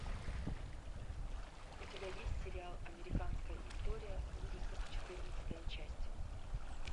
у тебя есть сериал американская история ужасов четырнадцатая часть